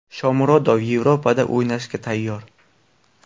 Shomurodov Yevropada o‘ynashga tayyor.